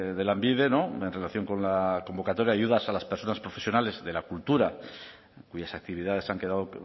de lanbide en relación con la convocatoria de ayudas a las personas profesionales de la cultura cuyas actividades han quedado